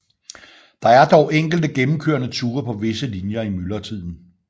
Der er dog enkelte gennemkørende ture på visse linjer i myldretiden